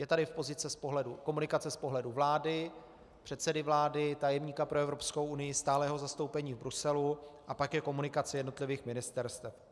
Je tady komunikace z pohledu vlády, předsedy vlády, tajemníka pro Evropskou unii, stálého zastoupení v Bruselu, a pak je komunikace jednotlivých ministerstev.